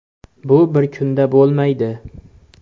Bu bir kunda bo‘lmaydi.